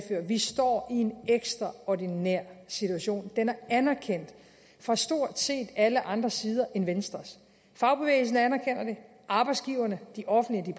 vi står i en ekstraordinær situation det er anerkendt fra stort set alle andre sider end venstres fagbevægelsen anerkender det arbejdsgiverne de offentlige